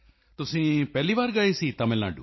ਤੁਸੀਂ ਪਹਿਲੇ ਵਾਰ ਗਏ ਸੀ ਤਮਿਲ ਨਾਡੂ